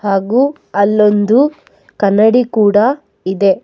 ಹಾಗು ಅಲ್ಲೊಂದು ಕನ್ನಡಿ ಕೂಡ ಇದೆ.